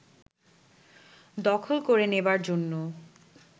দখল করে নেবার জন্য